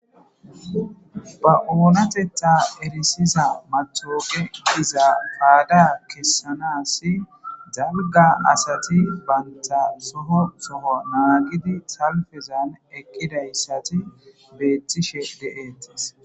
ba oonatetta erisiza matoogediza paada kessanasi dabga asati banta soho soho naagidi salfezan eqqidayssati beettishef deetis